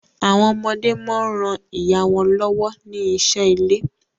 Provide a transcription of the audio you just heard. Àwọn ọmọdé món rán ìyá wón lówó ní iṣé ilè.